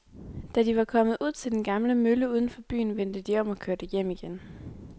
Da de var kommet ud til den gamle mølle uden for byen, vendte de om og kørte hjem igen.